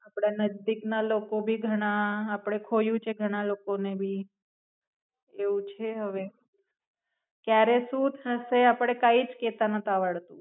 આપડા નજદીક ના લોકો ભી ઘણા આપડે ખોયું છે ઘણા લોકો ને ભી. એવું છે હવે. ક્યારે શું થશે આપડે કઈ જ કેતા નતું આવડતું.